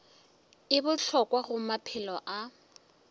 e bohlokwa go maphelo a